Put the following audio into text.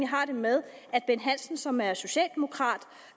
har det med at bent hansen som er socialdemokrat